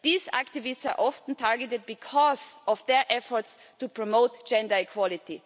These activists are often targeted because of their efforts to promote gender equality.